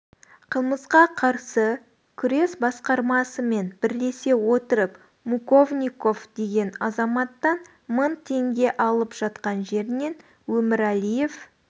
қылмысқа қарсы күрес басқармасымен бірлесе отырып муковников деген азаматтан мың теңге алып жатқан жерінен өміралиев